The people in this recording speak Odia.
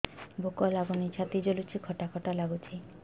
ଭୁକ ଲାଗୁନି ଛାତି ଜଳୁଛି ଖଟା ଖଟା ଲାଗୁଛି